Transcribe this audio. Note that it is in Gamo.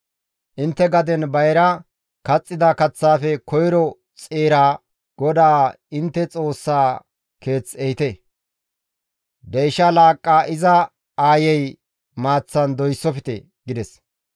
«Intte gaden bayra kaxxida kaththaafe koyro xeeraa GODAA intte Xoossaa keeth ehite. «Deyshsha laaqqa iza aayey maaththan doyssofte» gides.